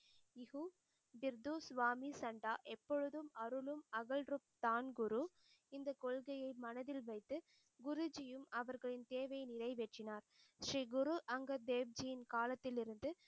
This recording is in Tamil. திர்து ஸ்வாமி சந்தா எப்பொழுதும் அருளும் அகழ்ருத்தான் குரு இந்தக் கொள்கையை மனதில் வைத்து குருஜியும் அவர்களின் தேவையை நிறைவேற்றினார். ஸ்ரீ குரு அங்கத் தேவ்ஜியின் காலத்திலிருந்து